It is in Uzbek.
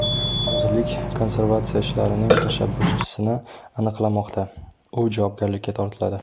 Vazirlik konservatsiya ishlarining tashabbuschisini aniqlamoqda, u javobgarlikka tortiladi.